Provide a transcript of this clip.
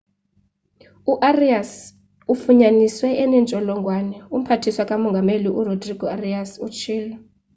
u-arias ufunyaniswe enentsholongwane umphathiswa ka mongameli urodrigo arias utshilo